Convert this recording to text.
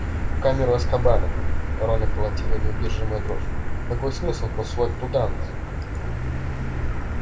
в камеру азкабана рона колотила неудержимая дрожь какой был смысл посылать нас туда